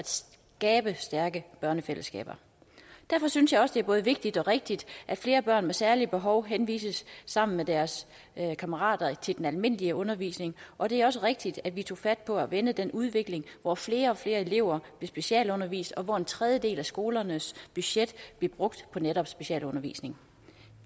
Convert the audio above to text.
skabe stærke børnefællesskaber derfor synes jeg også det er både vigtigt og rigtigt at flere børn med særlige behov henvises sammen med deres kammerater til den almindelige undervisning og det er også rigtigt at vi tog fat på at vende den udvikling hvor flere og flere elever blev specialundervist og hvor en tredjedel af skolernes budget blev brugt på netop specialundervisning